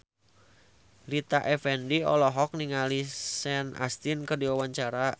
Rita Effendy olohok ningali Sean Astin keur diwawancara